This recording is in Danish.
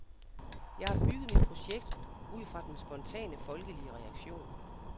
Jeg har bygget mit projekt ud fra den spontane, folkelige reaktion .